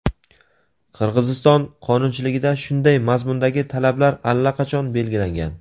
Qirg‘iziston qonunchiligida shunday mazmundagi talablar allaqachon belgilangan.